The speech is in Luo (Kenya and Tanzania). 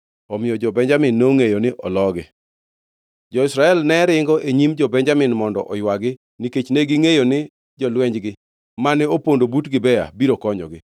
Omiyo jo-Benjamin nongʼeyo ni oloogi. Jo-Israel ne ringo e nyim jo-Benjamin mondo oywagi, nikech negingʼeyo ni jolwenjgi mane opondo but Gibea biro konyogi.